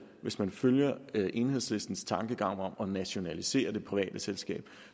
hvis man følger enhedslistens tankegang om at nationalisere det private selskab